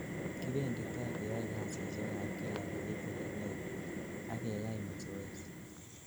kibendoti keyoe kasisiek ab kila keit olenegit, ak keyai masoezi